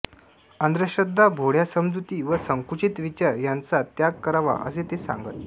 अंधश्रद्धा भोळ्या समजुती व संकुचित विचार यांचा त्याग करावा असे ते सांगत